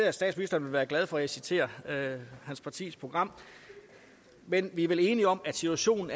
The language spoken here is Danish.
at statsministeren vil være glad for at jeg citerer hans partis program men vi er vel enige om at situationen